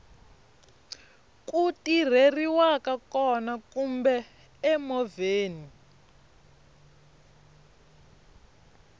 ku tirheriwaka kona kumbe emovheni